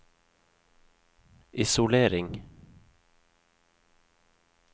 isolering